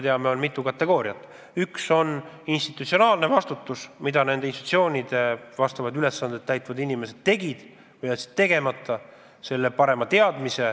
Üks on institutsionaalne vastutus, lähtudes hoolsuskohustusest: mida nende institutsioonide vastavaid ülesandeid täitvad inimesed tegid või jätsid tegemata.